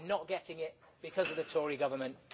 We are not getting it because of the Tory Government.